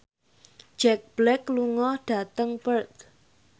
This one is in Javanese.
Jack Black lunga dhateng Perth